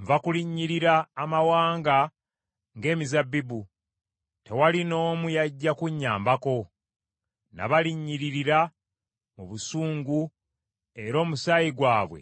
“Nva kulinnyirira amawanga nga emizabbibu, tewali n’omu yajja kunnyambako. Nabalinnyiririra mu busungu era omusaayi gwabwe